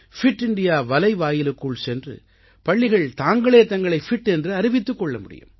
bit India வலைவாயிலுக்குள் சென்று பள்ளிகள் தாங்களே தங்களை பிட் என்று அறிவித்துக் கொள்ள முடியும்